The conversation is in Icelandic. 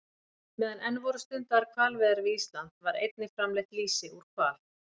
Meðan enn voru stundaðar hvalveiðar við Ísland var einnig framleitt lýsi úr hval.